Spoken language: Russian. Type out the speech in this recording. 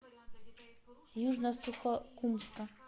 южно сухокумска